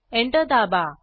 enter दाबा